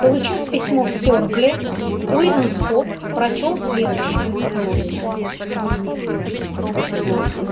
получив письмо в серкле уидон скотт прочёл следующее